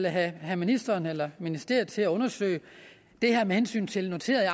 have ministeren eller ministeriet til at undersøge det her med hensyn til noterede